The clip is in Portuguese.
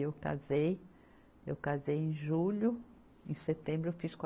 E eu casei, eu casei em julho, em setembro eu fiz qua